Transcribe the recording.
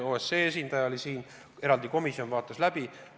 OSCE esindaja oli siin, eraldi komisjon vaatas asjad läbi.